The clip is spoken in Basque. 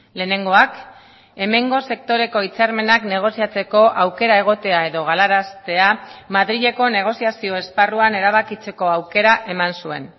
lehenengoak hemengo sektoreko hitzarmenak negoziatzeko aukera egotea edo galaraztea madrileko negoziazio esparruan erabakitzeko aukera eman zuen